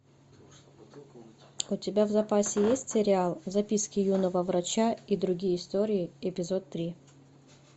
у тебя в запасе есть сериал записки юного врача и другие истории эпизод три